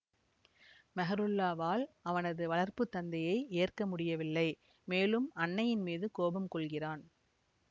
மெஹ்ருல்லாவால் அவனது வளர்ப்பு தந்தையை ஏற்க முடியவில்லை மேலும் அன்னையின் மீது கோபம் கொள்கிறான்